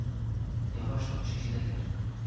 Yavaş danış eşidərlər.